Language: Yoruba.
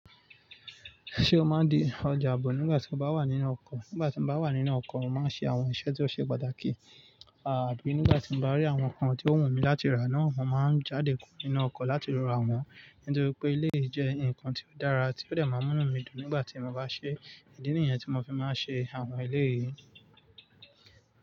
Ṣé o máa n di ọjà aabọ̀ nígbà tí o bá wà nínú ọkọ̀? Nígbà tí mo bá wà nínú ọkọ̀, mo máa ń ṣe àwọn iṣẹ́ tí ó ṣe pàtàkì. Àbí nígbà tí mo bá rí àwọn nǹkan tí ó wù mí láti rà náà, mo máa ń jáde kúrò nínú ọkọ̀ láti ra wọ́n. Nítorípé eléyìí jẹ́ ǹkan tí ó dára tí ó dẹ̀ máa mú mí dùn nígbà tí mo bá ṣe ìdí nìyẹn tí mo fi máa ń ṣe àwọn eléyìí.